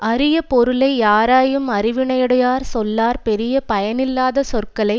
அரிய பொருளை யாராயும் அறிவினையுடையார் சொல்லார் பெரிய பயனில்லாத சொற்களை